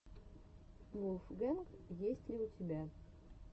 вулфгэнг есть ли у тебя